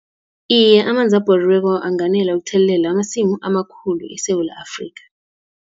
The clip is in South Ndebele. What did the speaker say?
Iye, amanzi abhoriweko anganela ukuthelelela amasimu amakhulu eSewula Afrika.